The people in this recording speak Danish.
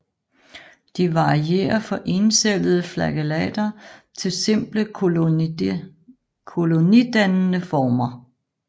De varierer fra encellede flagellater til simple kolonidannende former